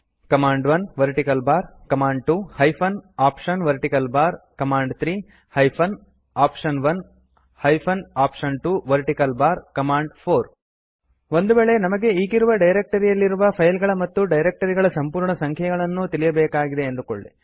ಕಮಾಂಡ್1 vertical bar command two hyphen option vertical bar command three hyphen option one hyphen option two vertical bar command four ಒಂದು ವೇಳೆ ನಮಗೆ ಈಗಿರುವ directory ಯಲ್ಲಿರುವ file ಗಳ ಮತ್ತು ಡೈರೆಕ್ಟ್ ರಿ ಗಳ ಸಂಪೂರ್ಣ ಸಂಖ್ಯೆಯನ್ನೂ ತಿಳಿಯಬೇಕಾಗಿದೆ ಎಂದು ಅಂದುಕೊಳ್ಳಿ